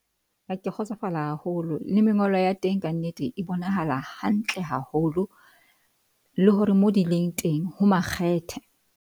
Ha ke kgotsofala haholo le mengolo ya teng, ka nnete e bonahala hantle haholo le hore mo di leng teng ho makgethe.